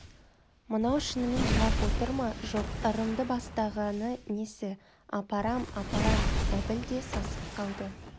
мынау шынымен жылап отыр ма жоқ ырымды бастағаны несі апарам апарам әбіл де сасып қалды